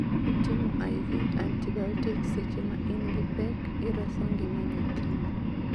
Ka itimo I.V. antibiotics seche ma in gi pek ireso ngima nyathini